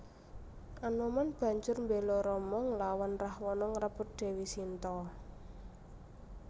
Anoman banjur mbéla Rama nglawan Rahwana ngrebut Dèwi Sinta